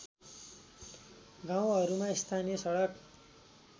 गाउँहरूमा स्थानीय सडक